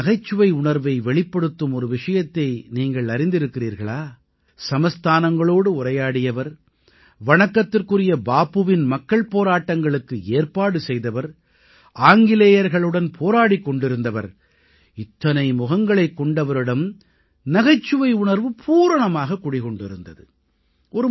அவரது நகைச்சுவை உணர்வை வெளிப்படுத்தும் ஒரு விஷயத்தை நீங்கள் அறிந்திருக்கிறீர்களா சமஸ்தானங்களோடு உரையாடியவர் வணக்கத்துக்குரிய பாபுவின் மக்கள் போராட்டங்களுக்கு ஏற்பாடு செய்தவர் ஆங்கிலேயர்களுடன் போராடிக் கொண்டிருந்தவர் இத்தனை முகங்களைக் கொண்டவரிடம் நகைச்சுவை உணர்வு பூரணமாகக் குடிகொண்டிருந்தது